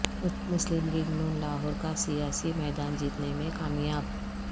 مسلم لیگ نون لاہور کا سیاسی میدان جیتنے میں کامیاب